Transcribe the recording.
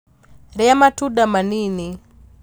Rĩa matunda manini